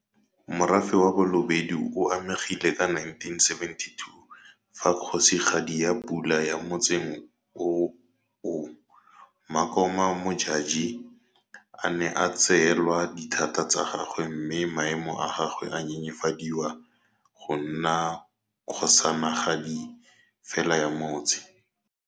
Morafe wa Balobedu o amegile ka 1972 fa Kgosigadi ya Pula ya motsing oo Makoma Modjadji a ne a tseelwa dithata tsa gagwe mme maemo a gagwe a nyenyefadiwa go nna kgosanagadi fela ya motse.